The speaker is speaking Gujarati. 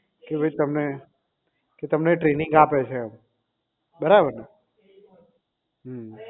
તમે કે તમને training આપે છે એમ બરાબર ને હમ